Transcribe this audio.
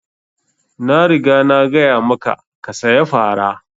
Na riga na gaya maka ka saya fara!